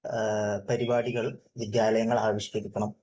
പരിപാടികൾ വിദ്യാലയങ്ങൾ ആവിഷ്കരിക്കണം